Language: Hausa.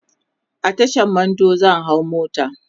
a Tashan Mando zan hau mota